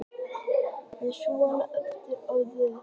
Það er svolítið erfitt að skilgreina orðið fitandi.